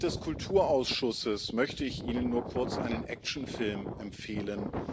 Als Mitglied des Kulturausschusses möchte ich Ihnen nur kurz einen Actionfilm empfehlen.